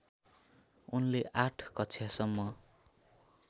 उनले आठ कक्षासम्म